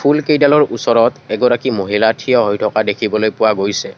ফুলকেইডালৰ ওচৰত এগৰাকী মহিলা থিয় হৈ থকা দেখিবলৈ পোৱা গৈছে।